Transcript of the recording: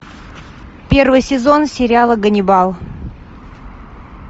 первый сезон сериала ганнибал